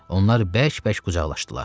Onlar bərk-bərk qucaqlaşdılar.